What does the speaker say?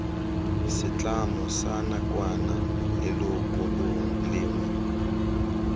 setlamo sa nakwana leloko lengwe